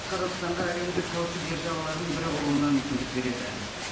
қазақстанға әлемдік каучук державаларының бірі болуына мүмкіндік береді